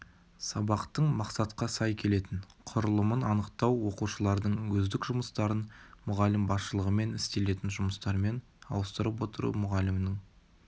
сабақтың мақсатқа сай келетін құрылымын анықтау оқушылардың өздік жұмыстарын мұғалім басшылығымен істелетін жұмыстармен ауыстырып отыру мұғалімнің